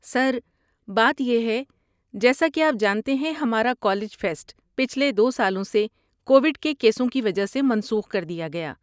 سر، بات یہ ہے، جیسا کہ آپ جانتے ہیں ہمارا کالج فیسٹ پچھلے دو سالوں سے کوویڈ کے کیسوں کی وجہ سے منسوخ کر دیا گیا